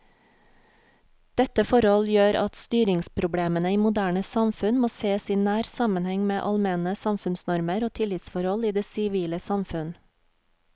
Dette forhold gjør at styringsproblemene i moderne samfunn må sees i nær sammenheng med allmenne samfunnsnormer og tillitsforhold i det sivile samfunn.